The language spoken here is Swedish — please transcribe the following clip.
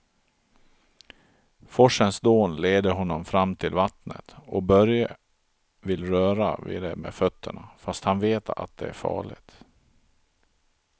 Forsens dån leder honom fram till vattnet och Börje vill röra vid det med fötterna, fast han vet att det är farligt.